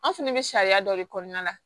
An fɛnɛ bɛ sariya dɔ de kɔnɔna la